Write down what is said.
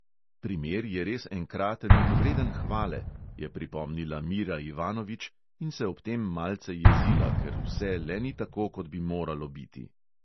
Primer je res enkraten in vreden hvale, je pripomnila mira ivanovič in se ob tem malce jezila, ker vse le ni tako, kot bi moralo biti.